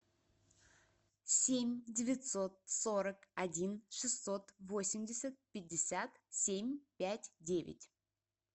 семь девятьсот сорок один шестьсот восемьдесят пятьдесят семь пять девять